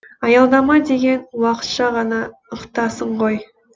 аялдама деген уақытша ғана ықтасын ғой